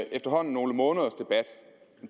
efterhånden nogle måneders debat